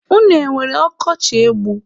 Unu enwere ọkọchị egbu?